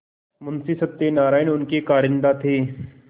मुंशी सत्यनारायण उनके कारिंदा थे